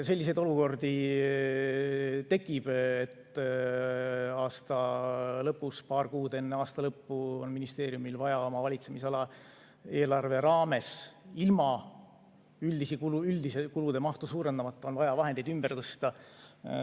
Selliseid olukordi tekib, et aasta lõpus, paar kuud enne aasta lõppu on ministeeriumil vaja oma valitsemisala eelarve raames ilma üldist kulude mahtu suurendamata vahendeid ümber tõsta.